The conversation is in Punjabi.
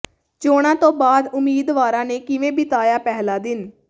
ਚੋਣਾਂ ਤੋਂ ਬਾਅਦ ਉਮੀਦਵਾਰਾਂ ਨੇ ਕਿਵੇਂ ਬਿਤਾਇਆ ਪਹਿਲਾ ਦਿਨ